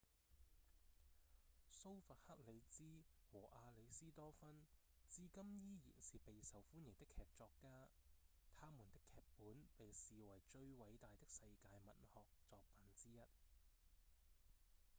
蘇弗克里茲和亞里斯多芬至今依然是備受歡迎的劇作家他們的劇本被視為最偉大的世界文學作品之一